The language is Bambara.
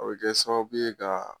O bɛ kɛ sababu ye k'i ka